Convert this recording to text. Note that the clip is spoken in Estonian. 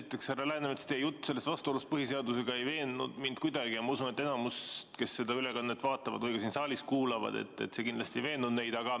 Esiteks, härra Läänemets, teie jutt vastuolust põhiseadusega ei veennud mind kuidagi ja ma usun, et enamikku, kes seda ülekannet vaatavad või ka siin saalis kuulavad, see kindlasti ei veennud.